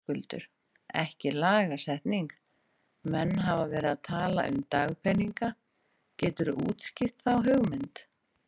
Höskuldur: Ekki lagasetning, menn hafa verið að tala um dagpeninga, geturðu útskýrt þá hugmynd?